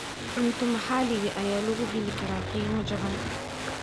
Cunto maxaliga ah ayaa lagu heli karaa qiimo jaban.